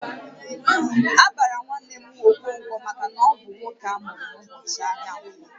A bara nwanne m Okonkwo maka na ọ bụ nwoke amuru n'ụbọchị ahịa Ǹkwọ